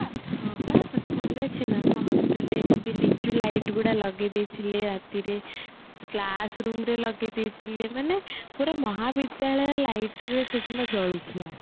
ହଁ ପା ତତେ ମନେ ଅଛି ନା ଆମ hostelରେ ଏମିତେ ଲିଚୁ light ଗୁରା ଲଗେଇଦେଇଥିଲେ ରାତିରେ class room ରେ ଲଗେଇ ଦେଇଥିଲେ ମାନେ ପୁରା ମହାବିଦ୍ୟାଳୟ lightରେ ସେଦିନ ଜଳୁଥିଲା